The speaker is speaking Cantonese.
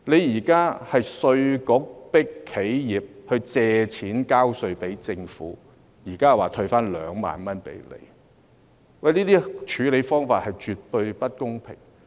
現在稅務局迫企業借錢交稅給政府，同時又說退回2萬元，這些處理方法是絕對不公平的。